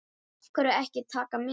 Af hverju ekki Taka með?